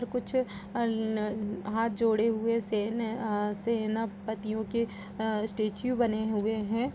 यहाँ कुछ अन न हाथ जोड़े हुए सेन है आ सेनापतिओ के अ स्टेच्यु बने हुए हैं |